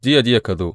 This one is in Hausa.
Jiya jiya ka zo.